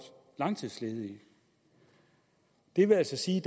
langtidsledige det vil altså sige